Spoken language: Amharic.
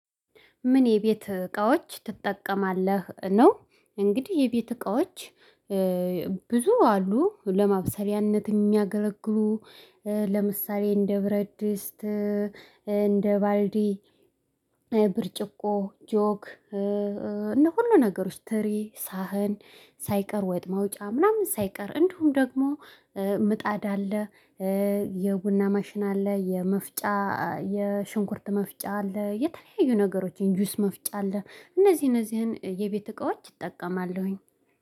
ምን የቤት እቃዎች ትጠቀማለህ ነው? እንግዲህ የቤት እቃዎች ብዙ አሉ ለማብሰያነት የሚያገለግሉ። ለምሳሌ እንደ ብረት ድስት እንደ ባልዲ። ብርጭቆ ጆክ። እነ ሁሉ ነገሮች ትሪ ሳህን ሳይቀር ወጥ ማውጫ ምናምን ሳይቀር እንዲሁም ደግሞ ምጣድ አለ። የቡና ማሽን አለ የመፍጫ የሽንኩርት መፍጫ አለ። የተለያዩ ነገሮችን ጁስ መፍጫ አለ። እነዚህ እነዚህን የቤት እቃዎች እጠቀማለሁኝ